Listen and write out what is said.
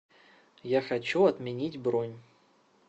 я хочу отменить бронь